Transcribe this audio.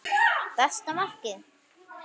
Besta markið?